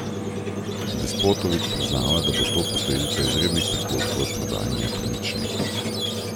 Despotović priznava, da bo to posledica izrednih prihodkov od prodaje nepremičnin.